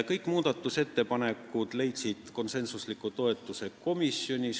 Kõik muudatusettepanekud leidsid komisjonis konsensusliku toetuse.